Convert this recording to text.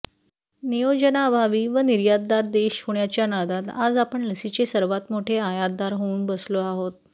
नियोजनाअभावी व निर्यातदार देश होण्याच्या नादात आज आपण लसीचे सर्वात मोठे आयातदार होऊन बसलो आहोत